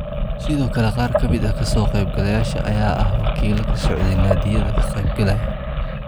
Sidoo kale qaar ka mid ah ka soo qeyb galayaasha ayaa ahaa wakiilo ka socday naadiyada ka qeyb galaya